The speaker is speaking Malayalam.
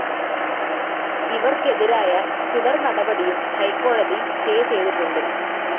ഇവർക്കെതിരായ തുടർ നടപടിയും ഹൈക്കോടതി സ്റ്റേ ചെയ്യതിട്ടുണ്ട്.